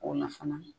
O na fana